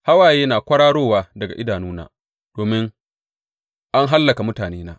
Hawaye na kwararowa daga idanuna domin an hallaka mutanena.